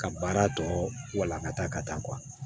Ka baara tɔ walankata ka taa